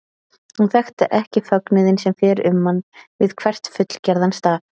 Hún þekkti ekki fögnuðinn sem fer um mann við hvern fullgerðan staf.